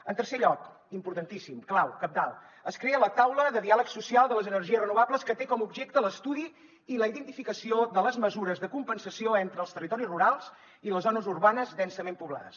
en tercer lloc importantíssim clau cabdal es crea la taula de diàleg social de les energies renovables que té com a objecte l’estudi i la identificació de les mesures de compensació entre els territoris rurals i les zones urbanes densament poblades